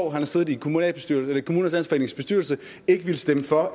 har siddet i kommunernes landsforenings bestyrelse ikke ville stemme for